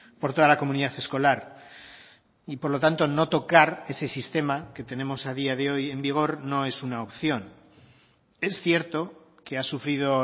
por toda la comunidad escolar y por lo tanto no tocar ese sistema que tenemos a día de hoy en vigor no es una opción es cierto que ha sufrido